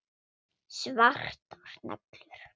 Svartar neglur.